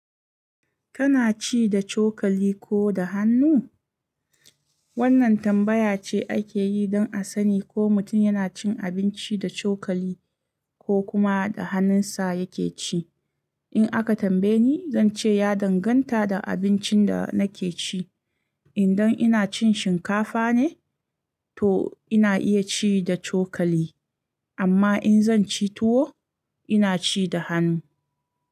Kana ci da cokali ko da hannu? Wannan tambaya ce ake yi don a sani ko mutum yana cin abinci da cokali ko kuma da hannunsa yake ci. In aka tambaye ni, zan ce ya danganta da abincin da nake ci. Idan ina cin shinkafa ne, to ina iya ci da cokali, amma in zan ci tuwo, ina ci da hannu.